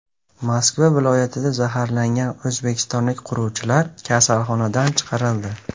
Moskva viloyatida zaharlangan o‘zbekistonlik quruvchilar kasalxonadan chiqarildi.